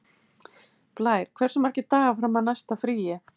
Blær, hversu margir dagar fram að næsta fríi?